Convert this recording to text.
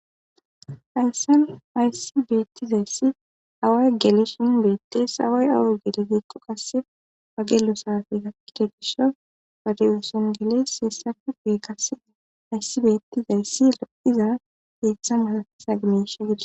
Hayssan aysibeettizayssi away gelesh in beettes haway away gelizeekko qasse wagelo saafeza kidegisho padiyuson geles hessafe gee kasee ayssibeettizayssi lo7iza geeththa masatisa gimesha gida